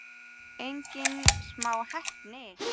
Engin smá heppni!